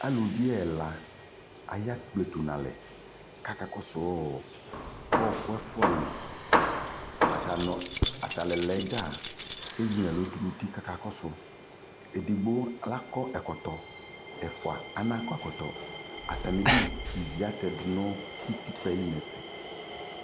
Alʋvi ɛla aya kpletʋ nʋ alɛ ka akakɔsʋɔ ɔɔkʋ ɛfua lι Atani ɛla yɛ dza ezi nʋ ɛlʋ tu nʋ uti kʋ akakɔsʋ Edigbo lakɔ ɛkɔtɔ, ɛfua anakɔ ɛkɔtɔ Atami udu, ivi atɛ dʋ nʋ utikpa lι nʋ ɛfɛ